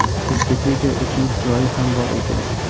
Disketa uchun joyi ham bor ekan!.